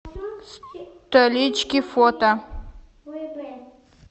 столички фото